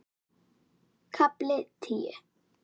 KAFLI TÍU